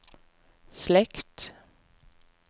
slekt